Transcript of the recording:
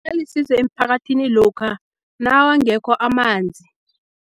Alisizo emphakathini lokha nawangekho amanzi.